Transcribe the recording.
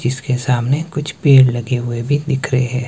जिसके सामने कुछ पेड़ लगे हुए भी दिख रहे--